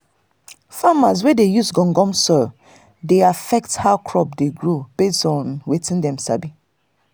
farmers wey dey use gum gum soil dey affect how crop dey grow based on wetin dem sabi